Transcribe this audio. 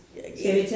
Ja, ja